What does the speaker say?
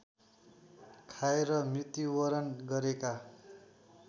खाएर मृत्युवरण गरेका